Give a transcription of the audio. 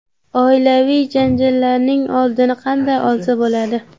Oilaviy janjallarning oldini qanday olsa bo‘ladi?.